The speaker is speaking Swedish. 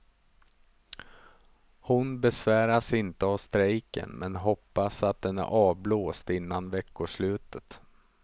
Hon besväras inte av strejken men hoppas att den är avblåst innan veckoslutet.